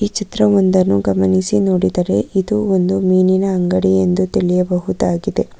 ಚಿತ್ರ ಒಂದನ್ನು ಗಮನಿಸಿ ನೋಡಿದರೆ ಇದು ಒಂದು ಮೀನಿನ ಅಂಗಡಿ ಎಂದು ತಿಳಿಯಬಹುದಾಗಿದೆ.